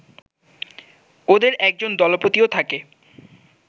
ওদের একজন দলপতিও থাকে